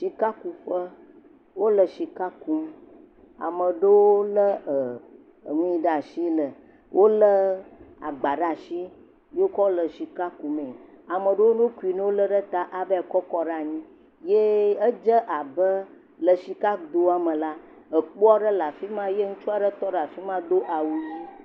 Sikakuƒe, wole sika kum, ame ɖewo le e.. enui ɖa tsi le wole agba ɖa tsi yiokɔ le sika kumee, ame ɖowo nokui nolé ɖe ta avae kɔkɔ ɖe anyi. Ye edze abe le tsikadoa me la, ekpo aɖe le afi ma ye ŋutsu aɖe tɔ ɖe afi ma do awu ʋi.